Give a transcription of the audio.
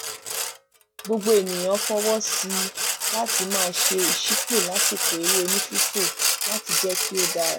gbogbo ènìyàn fọwọ sí i láti máa ṣe ìṣípò lásìkò eré onífífò láti jẹ kí ó dára